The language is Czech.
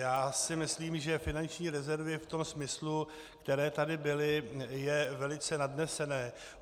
Já si myslím, že finanční rezervy v tom smyslu, které tady byly, je velice nadnesené.